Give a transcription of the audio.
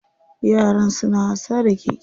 Yaran suna wasa da keke.